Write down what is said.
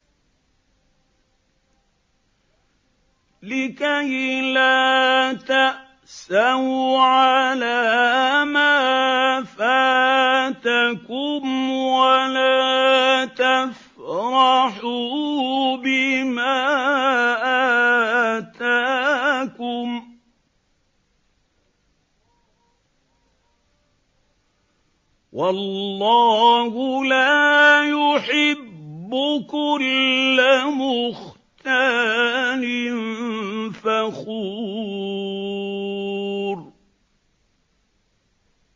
لِّكَيْلَا تَأْسَوْا عَلَىٰ مَا فَاتَكُمْ وَلَا تَفْرَحُوا بِمَا آتَاكُمْ ۗ وَاللَّهُ لَا يُحِبُّ كُلَّ مُخْتَالٍ فَخُورٍ